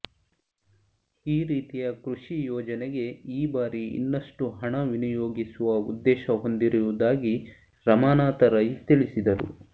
ಈ ರೀತಿಯ ಕೃಷಿ ಯೋಜನೆಗೆ ಈ ಬಾರಿ ಇನ್ನಷ್ಟು ಹಣ ವಿನಿಯೋಗಿಸುವ ಉದ್ದೇಶ ಹೊಂದಿರುವುದಾಗಿ ರಮಾನಾಥ ರೈ ತಿಳಿಸಿದರು